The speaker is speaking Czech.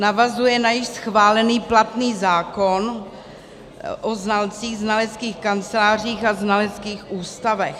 Navazuje na již schválený platný zákon o znalcích, znaleckých kancelářích a znaleckých ústavech.